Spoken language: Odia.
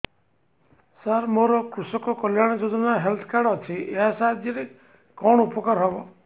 ସାର ମୋର କୃଷକ କଲ୍ୟାଣ ଯୋଜନା ହେଲ୍ଥ କାର୍ଡ ଅଛି ଏହା ସାହାଯ୍ୟ ରେ କଣ ଉପକାର ହବ